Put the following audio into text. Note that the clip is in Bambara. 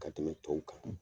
Ka tɛmɛ tɔw kan !